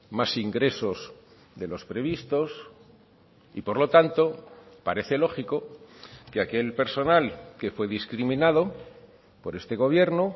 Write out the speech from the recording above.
más ingresos de los previstos y por lo tanto parece lógico que aquel personal que fue discriminado por este gobierno